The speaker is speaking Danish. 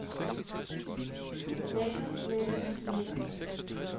lækker lækker lækker